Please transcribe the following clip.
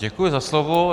Děkuji za slovo.